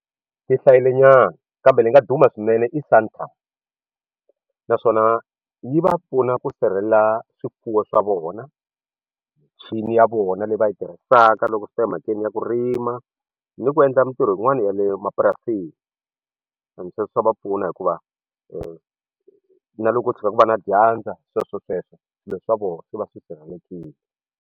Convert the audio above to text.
Tti hlayile nyana kambe leyi nga duma swinene i Santam naswona yi va pfuna ku sirhelela swifuwo swa vona michini ya vona leyi va yi tirhisaka loko swi ta emhakeni ya ku rima ni ku endla mintirho yin'wana ya le mapurasini and se swa va pfuna hikuva na loko u tshika ku va na dyandza sweswo sweswo swilo swa vona swi va swi sirhelelekile.